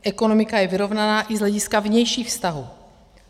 Ekonomika je vyrovnaná i z hlediska vnějších vztahů.